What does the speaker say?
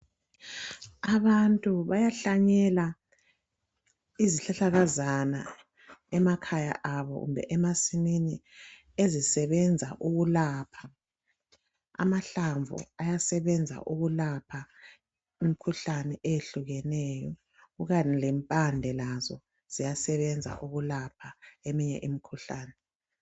Abantu bayahlanyela izihlahlakazana emakhaya abo kumbe emasimini ezisebenza ukulapha amahlamvu ayasebenza ukulapha imkhuhlane eyehlukeneyo kukanye lempande lazo ziyasebenza ukulapha eminye imkhuhlani.